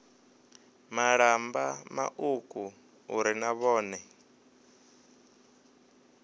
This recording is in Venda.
malamba mauku uri na vhone